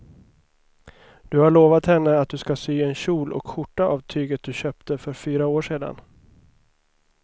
Du har lovat henne att du ska sy en kjol och skjorta av tyget du köpte för fyra år sedan.